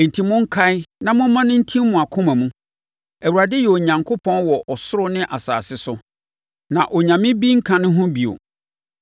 Enti, monkae na momma no ntim mo akoma mu: Awurade yɛ Onyankopɔn wɔ ɔsoro ne asase so, na onyame bi nka ne ho bio!